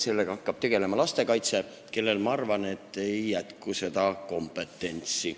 Sellega hakkavad tegelema lastekaitse spetsialistid, kellel, ma arvan, ei jätku kompetentsi.